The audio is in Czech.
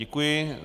Děkuji.